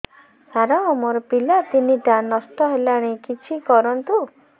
ସାର ମୋର ପିଲା ତିନିଟା ନଷ୍ଟ ହେଲାଣି କିଛି କରନ୍ତୁ